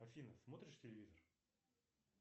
афина смотришь телевизор